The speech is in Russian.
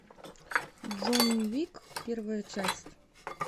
джонни уик первая часть